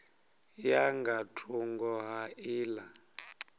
ya nga thungo ha nḓila